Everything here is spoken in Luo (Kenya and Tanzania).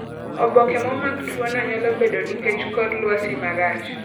Oboke momak tuo no nyalo bedo nikech kor lwasi marach.